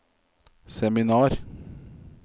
seminar